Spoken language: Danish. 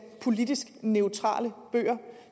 politisk neutrale bøger